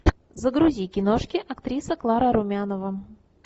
загрузи киношки актриса клара румянова